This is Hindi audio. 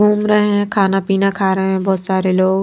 घूम रहे हैं खाना पीना खा रहे हैं बहुत सारे लोग--